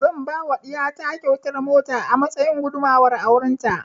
Zan yi wa ɗiya ta kyautar mota a matsayin gudumuwar auren ta